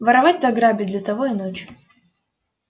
воровать да грабить для того и ночь